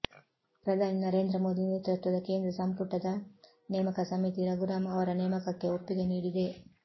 ಪ್ರಧಾನಿ ನರೇಂದ್ರ ಮೋದಿ ನೇತೃತ್ವದ ಕೇಂದ್ರ ಸಂಪುಟದ ನೇಮಕ ಸಮಿತಿ ರಘುರಾಂ ಅವರ ನೇಮಕಕ್ಕೆ ಒಪ್ಪಿಗೆ ನೀಡಿದೆ